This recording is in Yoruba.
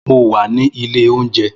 Mo wà ní ilé oúnjẹ